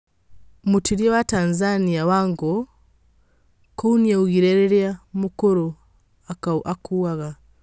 Mũtwĩrĩa waTanzania Wangũkũnĩaiguire rĩrĩa Mũkuruũakuaga.